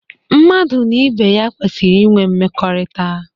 Mmadụ na ibe ya kwesịrị inwe mmekọrịta.